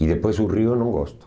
E depois o rio eu não gosto.